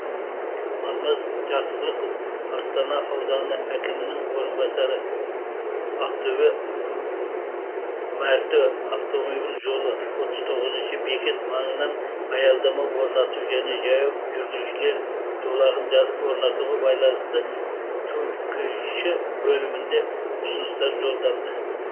алмаз жақсылықов астана ауданы әкімінің орынбасары ақтөбе мәртө автомобиль жолы отыз тоғызыншы бекет маңынан аялдама орнату және жаяу жүргіншілер жолағын орнатуға байланысты түкш бөлімінде ұсыныстар жолданды